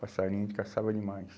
Passarinho a gente caçava demais.